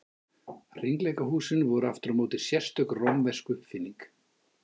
Hringleikahúsin voru aftur á móti sérstök rómversk uppfinning.